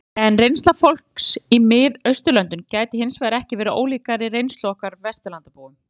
En reynsla fólks í Mið-Austurlöndum gæti hins vegar ekki verið ólíkari reynslu okkar Vesturlandabúa.